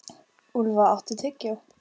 Úlfa, áttu tyggjó?